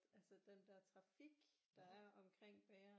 Altså den der trafik der er omkring bageren